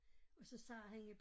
Og så sagde hende